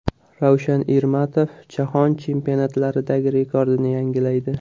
Ravshan Ermatov Jahon Chempionatlaridagi rekordini yangilaydi.